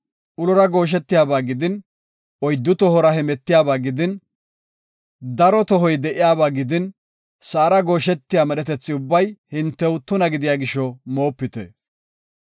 Ulora gooshetiyaba gidin, oyddu tohora hemetiyaba gidin, daro tohoy de7iyaba gidin, sa7ara gooshetiya medhetethi ubbay hintew tuna gidiya gisho moopite.